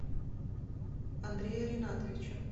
андрея ринатовича